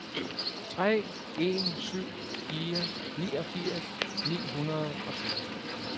tre en syv fire niogfirs ni hundrede og syv